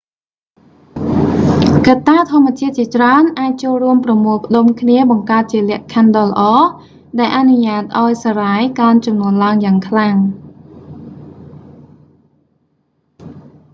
កត្តាធម្មជាតិជាច្រើនអាចចូលរួមប្រមូលផ្តុំគ្នាបង្កើតជាលក្ខខណ្ឌដ៏ល្អ ដែលអនុញ្ញាតឱ្យសារ៉ាយកើនចំនួនឡើងយ៉ាងខ្លាំង